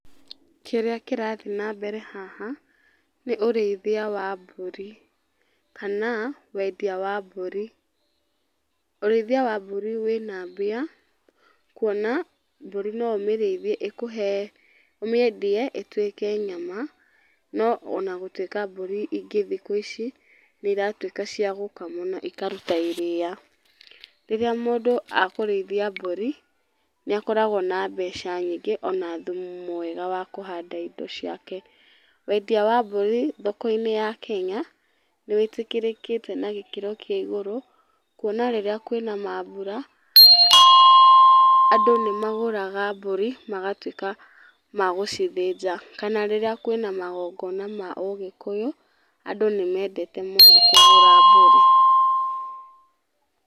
Kĩrĩa kĩrathiĩ na mbere haha, nĩ ũrĩithia wa mbũri, kana, wendia wa mbũri. Ũrĩithia wa mbũri wĩna mbia, kuona, mbũri no ũmĩrĩithie ĩkũhe, ũmĩendie ĩtuĩke nyama, no onagũtuĩka mbũri ingĩ thikũ ici nĩiratuĩka cia gũkamwo na ikaruta iria. Rĩrĩa mũndũ akũrĩithia mbũri, nĩakoragwo na mbeca nyingĩ ona thumu mwega wa kũhanda indo ciake. Wendia wa mbũri thoko-inĩ ya kenya, nĩwĩtĩkĩrĩkĩte na gĩkĩro kĩa igũrũ, kuona rĩrĩa kwĩna mambũra, andũ nĩmagũraga mbũri magatuĩka ma gũcithĩnja. Kana rĩrĩa kwĩna magongona ma Ũgĩkũyũ, andũ nĩmendete mũno kũgũra mbũri.